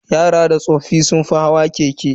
Yara da tsoffi sun fi hawa keke.